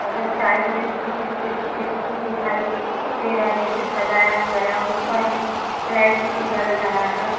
और इधर साइड में भी कुछ छोटे-छोटे फूल दिखाई दे रहा है जिसे सजाया हुआ है और ऊपर में लाइट्स भी जल रहा है।